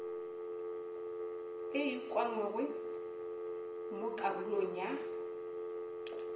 e ukangwego mo karolong ya